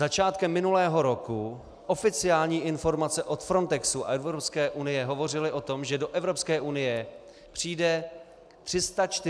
Začátkem minulého roku oficiální informace od Frontexu a Evropské unie hovořily o tom, že do Evropské unie přijde 340 tisíc lidí.